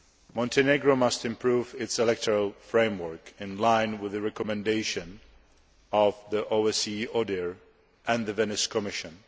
Montenegro must improve its electoral framework, in line with the recommendations of the OSCE ODIHR and the Venice Commission.